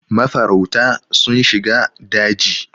mafarauta sun shiga daji